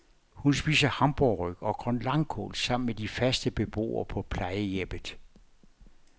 Hun spiser hamburgerryg og grønlangkål sammen med de faste beboere på plejehjemmet.